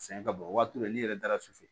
Sɛgɛn ka bon o waati la n'i yɛrɛ dara sufɛ